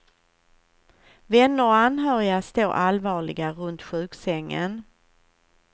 Vänner och anhöriga står allvarliga runt sjuksängen.